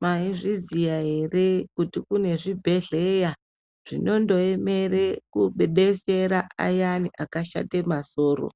Mwaizviziya ere kuti kune zvibhedhleya zvinondoemera kudetsera ayani akashate masoro.